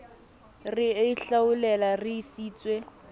re e hlaolele re sietswe